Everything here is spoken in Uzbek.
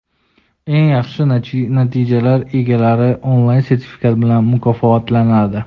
Eng yaxshi natijalar egalari onlayn sertifikat bilan mukofotlanadi.